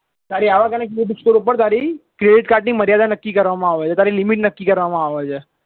તારી આવક અને credit score ઉપર વતારી credit card ની મર્યાદા નક્કી કરવામાં આવે છે તારી limit નક્કી કરવામાં આવે છે